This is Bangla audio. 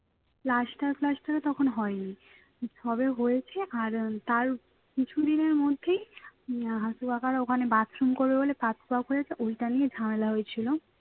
প্লাস্টার ফ্ল্যাস্টারও তখন হয় নি সবে হয়েছে আর তার কিছুদিনের মধ্যেই আহ হাশু কাকারা ওখানে bathroom করবে বলে bath হয়েছে ওইটা নিয়ে ঝামেলা হয়েছিল